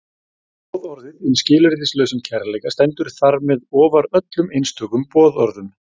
Boðorðið um skilyrðislausan kærleika stendur þar með ofar öllum einstökum boðorðum.